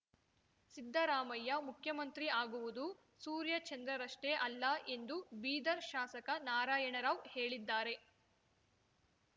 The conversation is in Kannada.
ಸಿದ್ದರಾಮಯ್ಯ ಮುಖ್ಯಮಂತ್ರಿ ಆಗುವುದು ಸೂರ್ಯಚಂದ್ರರಷ್ಟೇ ಅಲ್ಲ ಎಂದು ಬೀದರ್ ಶಾಸಕ ನಾರಾಯಣ ರಾವ್‌ ಹೇಳಿದ್ದಾರೆ